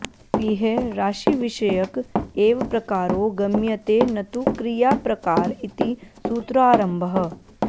इह राशिविषयक एव प्रकारो गम्यते नतु क्रियाप्रकार इति सूत्रारम्भः